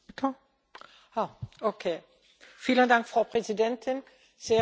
Frau Präsidentin, sehr geehrte Kolleginnen und Kollegen!